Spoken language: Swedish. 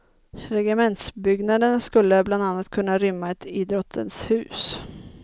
Regementsbyggnaderna skulle bland annat kunna rymma ett idrottens hus.